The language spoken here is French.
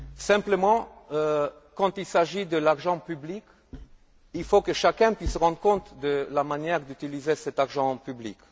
Simplement, quand il s'agit d'argent public, il faut que chacun puisse rendre compte de la manière d'utiliser cet argent public.